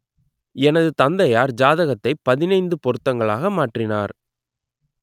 எனது தந்தையார் ஜாதகத்தைப் பதினைந்து பொருத்தங்களாக மாற்றினார்